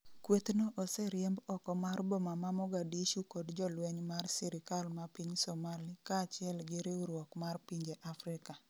kwethno oseriemb oko mar boma ma Mogadishu kod jolweny mar sirikal ma Piny Somali kaachiel gi riwruok mar pinje Afrika